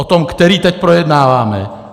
O tom, který teď projednáváme.